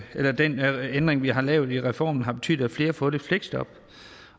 den ændring vi har lavet i reformen har betydet at flere har fået et fleksjob